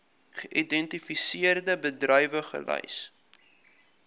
geïdentifiseerde bedrywe gelys